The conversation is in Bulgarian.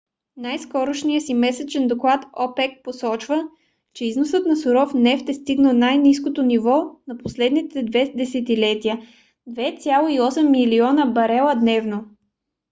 в най-скорошния си месечен доклад опек посочва че износът на суров нефт е стигнал най-ниското ниво за последните две десетилетия - 2,8 милиона барела дневно